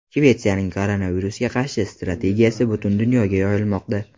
Shvetsiyaning koronavirusga qarshi strategiyasi butun dunyoga yoyilmoqda.